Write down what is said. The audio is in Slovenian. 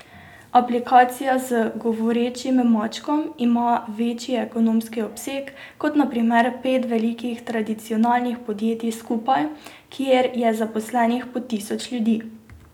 Aplikacija z govorečim mačkom ima večji ekonomski obseg kot na primer pet velikih tradicionalnih podjetij skupaj, kjer je zaposlenih po tisoč ljudi.